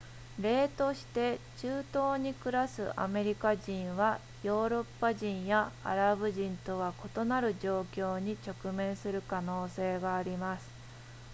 例として中東に暮らすアメリカ人はヨーロッパ人やアラブ人とは異なる状況に直面する可能性があります